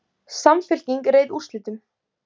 Samfylking réð úrslitum